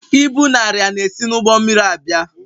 Ibu na arịa na-esi n'ụgbọ mmiri abịa